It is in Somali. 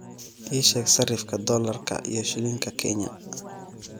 ii sheeg sarifka dollarka iyo shilinka kenya